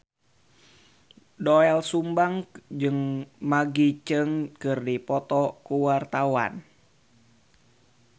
Doel Sumbang jeung Maggie Cheung keur dipoto ku wartawan